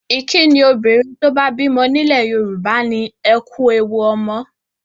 Ìkínni obìnrin tó bá bímọ nílẹ̀ Yorùbá ni 'Ẹ kú ewu ọmọ'.